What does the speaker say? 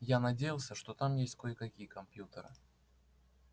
я надеялся что там есть кое-какие компьютеры